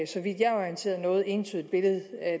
så vidt jeg er orienteret noget entydigt billede